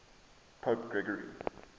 pope gregory